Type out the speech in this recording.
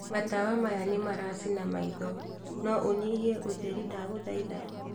matawa maya nĩmara cina maitho, no ũnyihie ũtheri ndagũthaitha